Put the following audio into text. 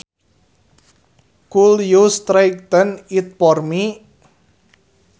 Could you straighten it for me